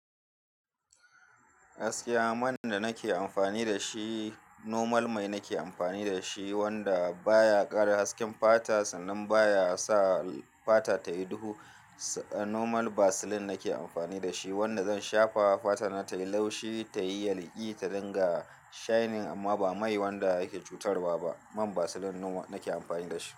Gaskiya man da nake amfani da shi normal mai nake amfani da shi wanda baya ƙara hasken fata sannan baya sa fata tayi duhu. Normal Vaseline nake amfani da shi wanda zan shafa fatana tayi laushi tayi yalƙi ta dinga shainin amma ba mai wanda yake cutarwa ba. Man Vaseline normal nake amfani da shi.